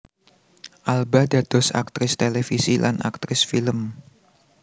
Alba dados aktris télévisi lan aktris film